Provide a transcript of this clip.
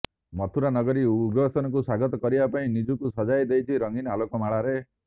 ମଥୁରା ନଗରୀ ଉଗ୍ରସେନଙ୍କୁ ସ୍ବାଗତ କରିବା ପାଇଁ ନିଜକୁ ସଜାଇ ଦେଇଛି ରଙ୍ଗୀନ ଆଲୋକମାଳାରେ